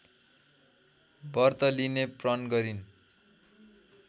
व्रत लिने प्रण गरिन्